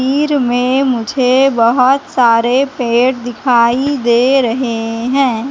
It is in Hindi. में मुझे बहोत सारे पेड़ दिखाई दे रहे हैं।